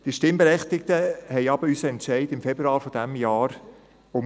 Die Stimmberechtigten stiessen aber unseren Entscheid im Februar dieses Jahres um.